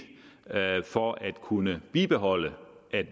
for at kunne bibeholde